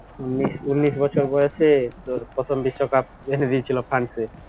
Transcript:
উনিশ উনিশ বছর বয়সে তোর প্রথম বিশ্বকাপ যেখানে দিয়েছিল ফ্রান্সে